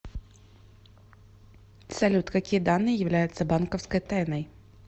салют какие данные являются банковской тайной